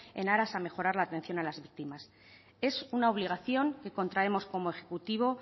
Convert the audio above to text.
en aras a mejorar la atención a las víctimas es una obligación que contraemos como ejecutivo